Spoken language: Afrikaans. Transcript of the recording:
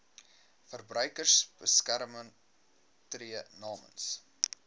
verbruikersbeskermer tree namens